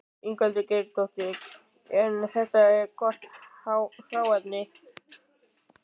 Ingveldur Geirsdóttir: En þetta er gott hráefni?